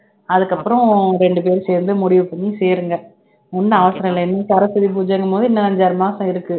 அதுக்கப்புறம் இரண்டு பேரும் சேர்ந்து முடிவு பண்ணி சேருங்க ஒண்ணும் அவசரம் இல்லை சரஸ்வதி பூஜைங்கும் போது இன்னும் அஞ்சு ஆறு மாசம் இருக்கு